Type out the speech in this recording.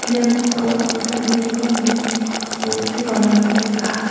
noksao anga dal·begipa nok bostu palramko nikaha.